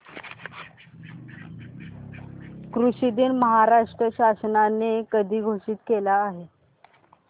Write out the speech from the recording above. कृषि दिन महाराष्ट्र शासनाने कधी घोषित केला आहे